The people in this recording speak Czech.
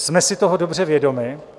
Jsme si toho dobře vědomi.